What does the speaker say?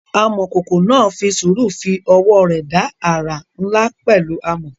Amọ̀kòkò náà fi sùúrù fi ọwọ́ rẹ̀ dá àrà ńlá pẹ̀lú amọ̀.